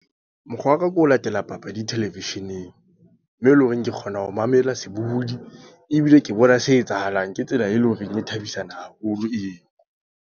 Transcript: Mokgwa wa ka ke ho latela papadi television-eng. Mo eleng hore ke kgona ho mamela sebohodi. Ebile ke bona se etsahalang. Ke tsela e leng hore e thabisa haholo eo.